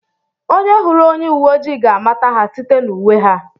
Onye hụrụ onye uwe ojii ga-amata ha site n'uwe ha